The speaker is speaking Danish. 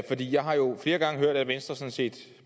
jeg har jo flere gange hørt at venstre sådan set